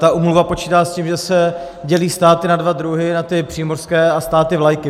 Ta úmluva počítá s tím, že se dělí státy na dva druhy, na ty přímořské a státy vlajky.